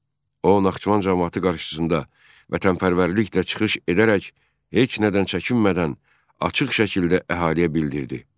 O, Naxçıvan camaatı qarşısında vətənpərvərliklə çıxış edərək heç nədən çəkinmədən açıq şəkildə əhaliyə bildirdi.